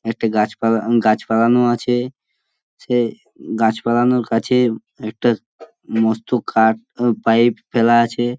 একটি গাছপালা উম গাছপালানো আছে সে গাছপালানোর কাছে একটা মস্ত কাঠ পাইপ ফেলা আছে।